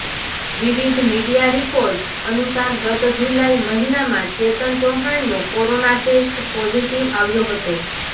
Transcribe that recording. વિવિધ media report અનુસાર ગત જુલાઈ મહિનામાં ચેતન ચૌહાણનો કોરોના ટેસ્ટ પોઝીટીવ આવ્યો હતો